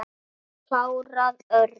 Ég hef klárað Örn.